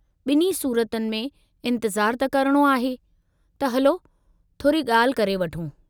बि॒न्ही सूरतुनि में इंतिज़ारु त करणो आहे त हलो थोरी गा॒ल्हि करे वठूं।